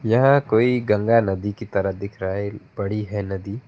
यहां कोई गंगा नदी की तरह दिख रहा है बड़ी है नदी।